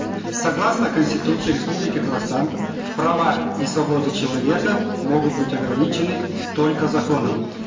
согласно конституции республики казахстан права и свободы человека могут быть ограничены только законом